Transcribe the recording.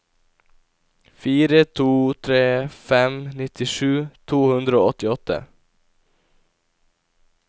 fire to tre fem nittisju to hundre og åttiåtte